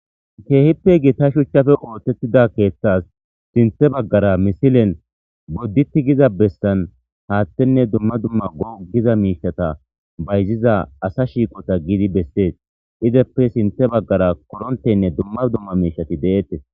Keehippe gita shuchappe oothetida keethas sinthe baggara misilen bodditi giza bessan hathenne dumma dumma go'a giza miishata bayziza asa shiiqota giidi besses izappe sinthe baggara koronteynne dumma dumma miishati de'etes.